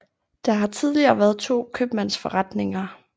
Der har tidligere været to købmandsforretninger